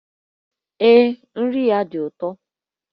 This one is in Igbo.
Ee, nri ya dị ụtọ